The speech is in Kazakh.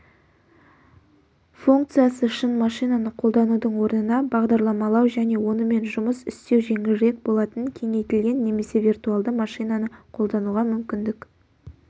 функциясы шын машинаны қолданудың орнына бағдарламалау және онымен жұмыс істеу жеңілірек болатын кеңейтілген немесе виртуалды машинаны қолдануға мүмкіндік